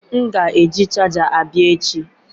M ga-eji chaja abia echi.